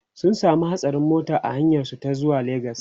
sun samu hatsarin mota a hanyar su ta zuwa legas